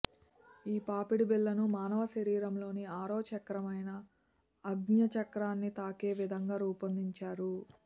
ఈ పాపిడి బిళ్ళను మానవ శరీరంలోని ఆరోచక్రమైన ఆజ్ఞాచక్రాన్ని తాకే విధంగా రూపొందించారు